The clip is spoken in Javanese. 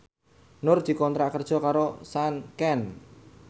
Nur dikontrak kerja karo Sanken